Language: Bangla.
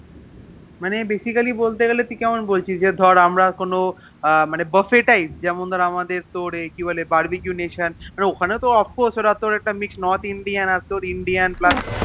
ম্যানএ Basically বলতে গেলে তুই কেমন বলছিস যে ধরে আমরা কেন Buffet type যেমন ধরে আমাদে তোর কেউ কি বলে বার্বিক নেশন মানে ওখানে তো Mixed north indian আর তোর Indian plus